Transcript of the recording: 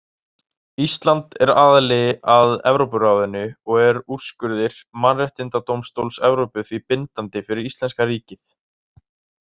Ísland er aðili að Evrópuráðinu og eru úrskurðir Mannréttindadómstóls Evrópu því bindandi fyrir íslenska ríkið.